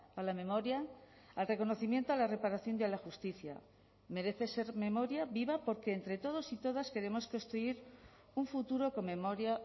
a la memoria al reconocimiento a la reparación y a la justicia merece ser memoria viva porque entre todos y todas queremos construir un futuro con memoria